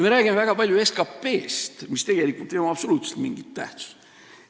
Me räägime väga palju SKT-st, millel tegelikult ei ole absoluutselt mingit tähtsust.